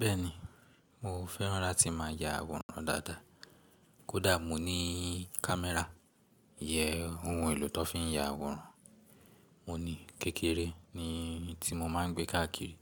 Bẹ́ẹ̀ni, mo fẹ́ràn láti máa ya àwòrán dáda. Kódà mò ní camẹ́rà iyẹn ohun èlò tó fi ń ya àwòrán, mo ní kékeré ni tí mo máa ń gbé káàkiri.